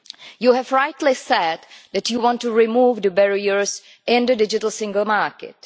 You have rightly said that you want to remove the barriers in the digital single market.